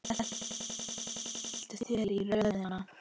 Skelltu þér í röðina.